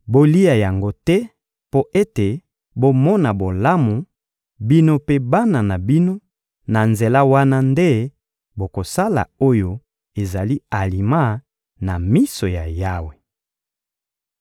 Bolia yango te mpo ete bomona bolamu, bino mpe bana na bino; na nzela wana nde bokosala oyo ezali alima na miso ya Yawe.